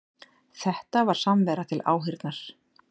Þetta var samvera til áheyrnar